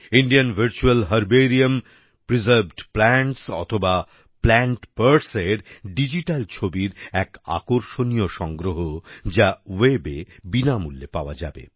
Indian virtual herbarium preserved plants অথবা plant Partsএর digital ছবির এক আকর্ষনীয় সংগ্রহ যা webএ বিনামূল্যে পাওয়া যাবে